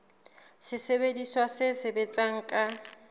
ke sesebediswa se sebetsang ka